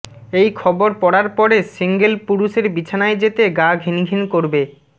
এই খবর পড়ার পরে সিঙ্গল পুরুষের বিছানায় যেতে গা ঘিনঘিন করবে